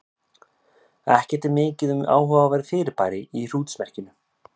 Ekki er mikið um áhugaverð fyrirbæri í hrútsmerkinu.